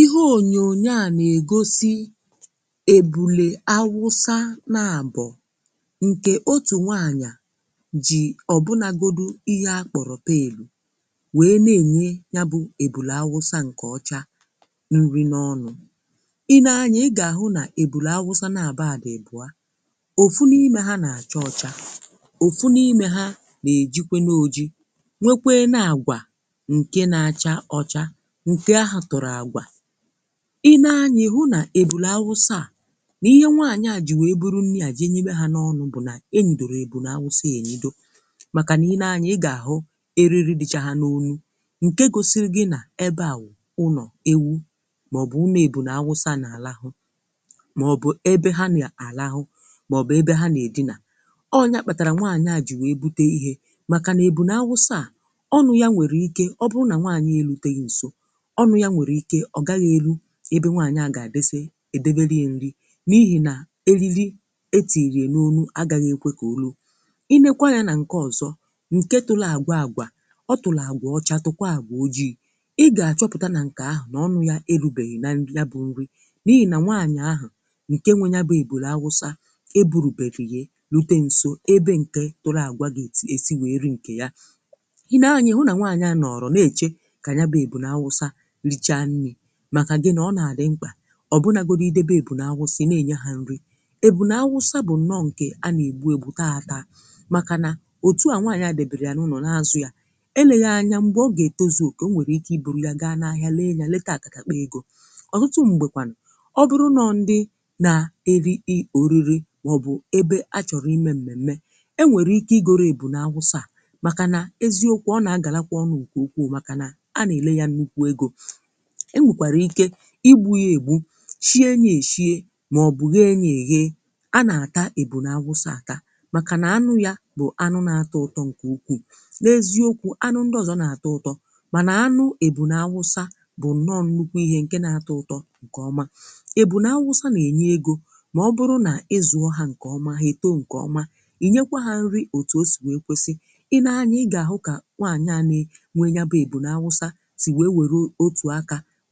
ihe ònyònyo à nà-ègosi èbùlè awụsa na àbọ̀ ǹkè otù nwaanyà jì ọ̀bụnagodu ihe akpọ̀rọ̀ peàlù wee na-ènye ya bụ èbùlè awụsa ǹkè ọcha nri n’ọnụ. i nee anya ị gà-àhụ nà èbùlè awụsa na àbọ adị̀ èbùa òfu n’imė ha nà-àcha ọcha òfu n’imė ha nà-èjikwe n’oji nwekwee na àgwà ǹke na-acha ọcha nke ahụ tọrọ agwà i nee anya ihu na ebula awụsa à n’ihe nwaanyi a ji wee buru nni à ji enyi mee ha n’ọnụ̇ bụ na e nidoro ebunawụsȧ ya enyi do màkà n’i nee anya ị ga-ahụ eriri dịchagha n’onu nke gosiri gị n’ebe à unọ̀ ewu maọ̀bụ̀ ụnọ̀ ebunawụsȧ n’alahụ̀ maọ̀bụ̀ ebe ha nà-alahụ maọ̀bụ̀ ebe ha nà-edina ọ nya kpatara nwaanyi a ji wee bute ihe makà na ebunawụsȧ à ọnụ̀ ya nwere ike ọ bụ nà nwaanyị eluteghi nso ọnụ̀ ya nwèrè ike ọ̀ gaghị̀ elu ebe nwaànyịà gà-àdịse edelė ya nrị n’ihì nà elilì etì èrìè n’ọnụ̀ agaghị̀ ekwė kà olù i nekwaa ya nà ǹke ọ̀zọ ǹke tụlụ àgwà àgwà ọtụ̀lụ̀ àgwà ọcha tụkwa àgwà ojii̇ ị gà-àchọpụ̀ta nà ǹkè ahụ̀ nà ọnụ̀ ya elu̇bèhìna nrị ya bụ̇ nrì n’ihì nà nwaànyịà ahụ̀ ǹke nwe ya bụ̀ ebùrù awụsa eburùbebìghì lute ǹso ebe ǹke tụrụ àgwà gà-ètì èsi wèe ri ǹkè ya i naanyị̀ hụ nà nwaànyịà nàọrọ na-èchè richaa nni̇ màkà gị nà ọ nà-àdị mkpà ọ bụrụ nàgodi idebe èbùna-àwụsighị na-ènya ha nri èbùna-àwụsa bụ̀ nọ ǹkè a nà-ègbu ègbu̇taa ha taa màkà nà òtù à nwaanyị̀ adèbèrè ya n’ụnọ̀ n’azụ̀ ya eleghị anya m̀gbè ọ gà-ètoziò okenwo nwèrè ike ibòrò ya ga n’ahịa lee ya leta àkàkà kpa egȯ ọ̀tụtụ m̀gbèkwànụ̀ ọbụrụ nọọ̇ ndị na eri i oriri màọbụ̀ ebe a chọ̀rọ̀ ime m̀mèmme e nwèrè ike igoro èbùna-àwụsa à màkà nà eziokwu ọ nà a gà làkwà ọnụ ùku ukwuù màkà na a nà-èle ya n’uku egȯ e nwèkwàrà ike igbu̇ ya ègbu shie nye èshie màọ̀bụ̀ ha enyė yee a nà-àta ebù n’awụsa àta màkà nà anụ ya bụ̀ anụ na-atọ ụtọ ǹkè ukwù n’eziokwu anụ ndị ọzọ n’atọ ụtọ mànà anụ ebù n’awụsa bụ̀ nnọ nnukwu ihe ǹke na-atọ ụtọ ǹkè ọma ebù n’awụsa n’enye egȯ mà ọ bụrụ nà ịzụ̀ ọ ha ǹkè ọma hè too ǹkè ọma ì nyekwa ha nrì òtù o sì wee kwesì i nee anya ị gà-àhụ kà nwaànyanyi nwe ya bụ̀ ebù n’awụsa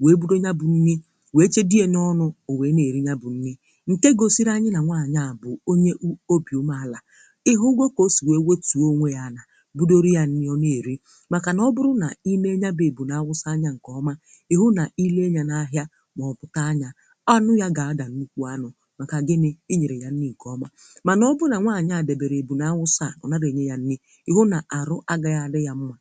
wee bụdo ya bụ̀ nni wee chebe dị ye n’ọnụ̇ o wee na-erị ya bụ̀ nni ǹke gosiri anyị nà nwaanyị à bụ̀ onye obi omenàlà ị hụ gwa kà o si wee wetu onwe ya nà bụdoro yȧ nni ọ na-eri màkà nà ọ bụrụ nà i mee ya bụ̀ ebù nà-awụsa anyȧ ǹkè ọma ị hụ nà i lee ya n’ahịa màọpụ̀ta anya anụ ya gà-adà nnukwu anụ̇ màkà gịnị i nyere ya nni ǹkè ọma mànà ọ bụrụ nà nwaanyị à dèbèrè ebù nà-awụsa à ọ nàrà enye ya nni ị hụ nà àrụ agaghị adị yȧ mmà